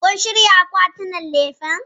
Kun shirya akwatinan lefen?